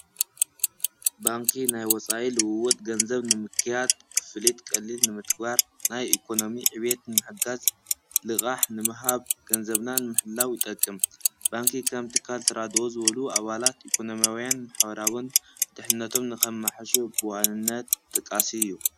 ባንኪ ናይ ወፃኢ ልውወጥ ገንዘብ ንምክያድ፣ ክፍሊት ቀሊል ንምትግባር፣ ናይ ኢኮኖሚ ዕብየት ንምሕጋዝ፣ ልቓሕ ንምሃብ፣ ገንዘብና ንምሕላው ይጠቅም። ባንኪ ከም ትካል ተራድኦ ዝበሉ ኣባላት ኢኮኖምያውን ማሕበራውን ድሕንነቶም ንኸማሕይሹ ብዋንነት ተጠቃሲ እዩ።